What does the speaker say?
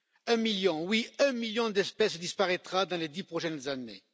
Un million, oui, un million d'espèces disparaîtra dans les dix prochaines années.